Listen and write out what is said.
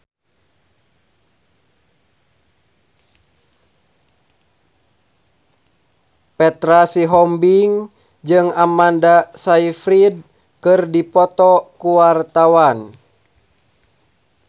Petra Sihombing jeung Amanda Sayfried keur dipoto ku wartawan